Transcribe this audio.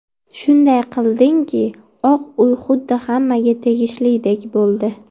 Shunday qildingki, Oq uy xuddi hammaga tegishlidek bo‘ldi.